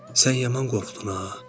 Sən yaman qorxdun ha?